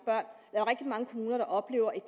kommuner der oplever et